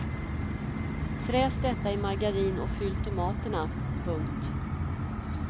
Fräs detta i margarin och fyll tomaterna. punkt